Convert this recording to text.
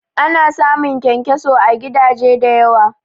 Ana samun kyankyaso à gidaje da yawa